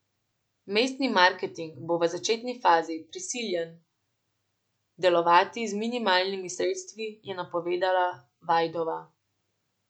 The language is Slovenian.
Mestni marketing bo v začetni fazi prisiljen delovati z minimalnimi sredstvi, je napovedala Vajdova.